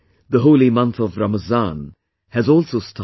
The holy month of Ramzan has also started